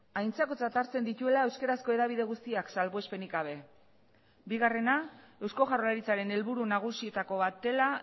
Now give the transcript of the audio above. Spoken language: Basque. aintzakotzat hartzen dituela euskarazko hedabide guztiak salbuespenik gabe bigarrena eusko jaurlaritzaren helburu nagusietako bat dela